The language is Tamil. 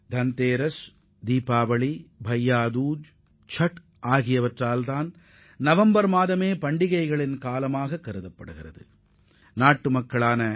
தாண்டிரா தீபாவளி பையாதூஜ் சாத் போன்ற பண்டிகைகள் வருவதால் நவம்பர் மாதத்தை பண்டிகைகளின் மாதம் என்றே கூறலாம்